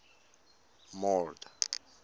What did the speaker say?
mord